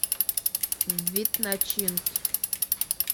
вид начинки